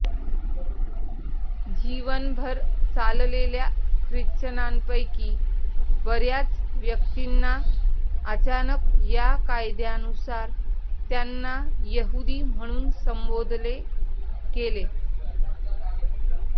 जीवनभर चाललेल्या ख्रिश्चनांपैकी बर्याच व्यक्तींना अचानक या कायद्यानुसार त्यांना यहूदी म्हणून संबोधले गेले